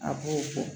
A b'o fɔ